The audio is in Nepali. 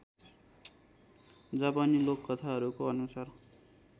जापानी लोककथाहरूको अनुसार